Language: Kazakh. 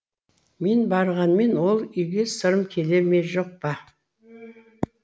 мен барғанмен ол үйге сырым келе ме жоқ па